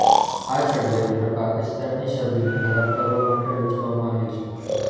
આ ષડયંત્ર પાકિસ્તાનની છબીને ખરાબ કરવા માટે રચવામાં આવ્યું છે